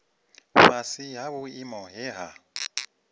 fhasi ha vhuimo he ha